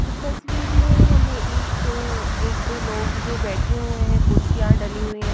इस तस्वीर में हमें एक एक दो लोग जो बैठे हुए हैं कुर्सियां डली हुहैं।